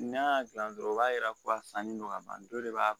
N'a y'a dilan dɔrɔn o b'a yira ko a sanni don ka ban dɔ de b'a